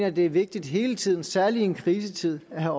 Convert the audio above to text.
at det er vigtigt hele tiden og særlig i en krisetid at